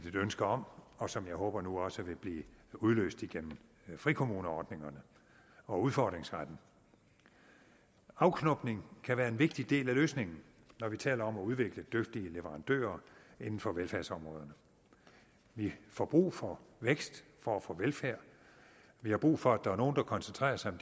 et ønske om og som jeg håber nu også vil blive udløst gennem frikommuneordningerne og udfordringsretten afknopning kan være en vigtig del af løsningen når vi taler om at udvikle dygtige leverandører inden for velfærdsområderne vi får brug for vækst for at få velfærd vi har brug for at der er nogle der koncentrerer sig om